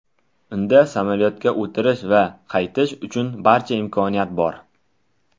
Unda samolyotga o‘tirish va qaytish uchun barcha imkoniyat bor.